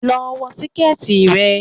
Lọ wọ síkẹ̀tì rẹ.